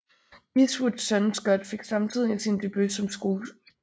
Eastwoods søn Scott fik samtidig sin debut som skuespiller